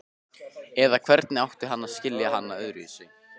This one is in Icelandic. Eða hvernig átti hann að skilja hana öðruvísi?